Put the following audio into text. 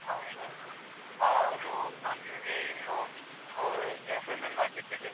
ಹೌದ್ ಹೌದು. ಹೌದು ನಂಗೆ ಇನ್ನು ಆ assignment ಮಾಡ್ಲಿಕ್ಕಿದೆ.